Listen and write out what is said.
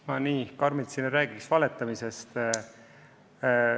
Ma nii karmilt siin ei räägiks valetamisest.